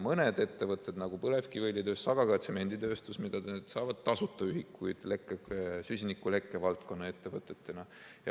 Mõned ettevõtted, nagu põlevkiviõlitööstus, aga ka tsemenditööstus, mida te, saavad tasuta ühikuid süsinikulekke valdkonna ettevõtetena.